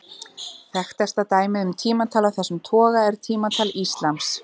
Þekktasta dæmið um tímatal af þessum toga er tímatal íslams.